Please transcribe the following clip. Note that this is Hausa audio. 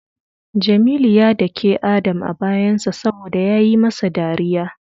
Jamilu ya dake Adam a bayansa saboda yayi masa dariya.